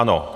Ano.